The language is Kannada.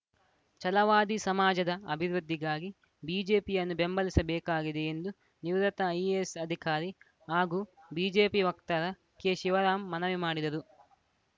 ಚಲವಾದಿ ಸಮಾಜದ ಅಭಿವೃದ್ಧಿಗಾಗಿ ಬಿಜೆಪಿಯನ್ನು ಬೆಂಬಲಿಸಬೇಕಾಗಿದೆ ಎಂದು ನಿವೃತ್ತ ಐಎಎಸ್‌ ಅಧಿಕಾರಿ ಹಾಗೂ ಬಿಜೆಪಿ ವಕ್ತಾರ ಕೆ ಶಿವರಾಮ್‌ ಮನವಿ ಮಾಡಿದರು